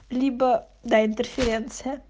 либо д интерференция